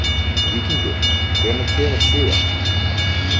Víkingur, hvenær kemur sjöan?